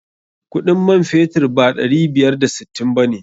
Kuɗin man fetur ba ɗari biyar da sittin ba ne.